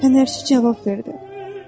Fənərçi cavab verdi: